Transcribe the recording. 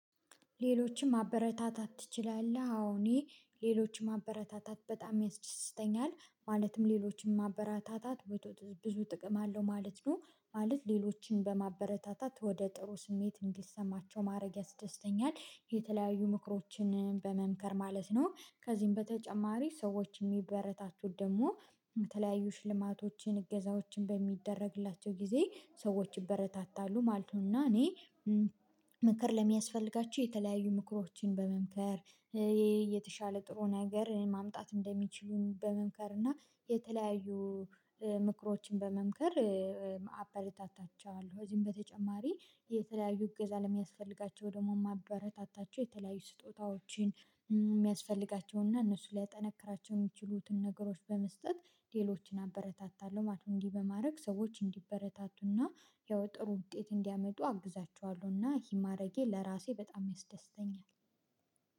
ሌሎችም ማበረታታት ትችላለህ? አዎ እኔ ሌሎችም ማበረታታት በጣም ያስደስተኛል ማለትም ሌሎችን ማበረታታት ብዙ ጥቅም አለው ማለት ነው። ማለት ሌሎችን በማበረታታት ወደ ጥሩ ስሜት እንዲሰማቸው ማድረግ ያስደስተኛል የተለያዩ ምክሮችን በመምከር ማለት ነው። ከዚህም በተጨማሪ ሰዎች የሚበረታቱት ደግሞ የተለያዩ ሽልማቶችን እገዛዎችን በሚደረግላቸው ጊዜ ሰዎች ይበረታታሉ ማለት ነው። እና እኔ ምክር ለሚያስፈልጋችሁ የተለያዩ ምክሮችን በመምከር የተሻለ ጥሩ ነገር ማምጣት እንደሚችሉ በመምከር እና የተለያዩ ምክሮችን በመምከር አበረታታቸዋለሁ። ከዚህም በተጨማሪ የተለያዩ እገዛ ለሚያስፈልጋቸው ደግሞ የማበረታታቸው የተለያዩ ስጦታዎችን የሚያስፈልጋቸውና እነሱ ሊያጠነክራቸው የሚችሉትን ነገሮች በመስጠት ሌሎችን አበረታታለሁ ማለት ነው። እንዲህ በማድረግ ሰዎች እንዲበረታቱና ያው ጥሩ ውጤት እንዲያመጡ አግዛቸዋለሁና ይህን ማድረጌ ለራሴ በጣም ያስደስተኛል